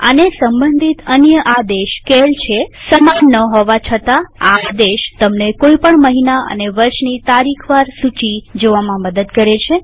આને સંબંધિત અન્ય આદેશ સીએએલ છેસમાન ન હોવા છતા આ આદેશ તમને કોઈ પણ મહિના અને વર્ષની તારીખ વાર સૂચીકેલેન્ડર જોવામાં મદદ કરે છે